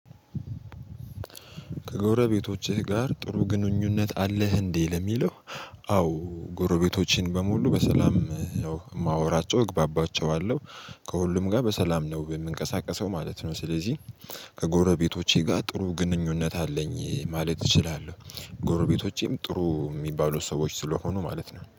ከጎረቤቶችህ ጋር ጥሩ ግንኙነት አለህ እንዲህ ለሚለው? አዎ ጎረቤቶችን በሙሉ በሰላም የማወራቸው እግባባቸዋለሁ ከሁሉም ጋር በሰላም ነው የምንቀሳቀሰው ማለት ነው። ስለዚህ ከጎረቤቶቼ ጋር ጥሩ ግንኙነት አለኝ ማለት እችላለሁ። ጎረቤቶቼም ጥሩ የሚባሉ ሰዎች ስለሆኑ ማለት ነው